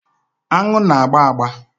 Aṅụ na-agba agba.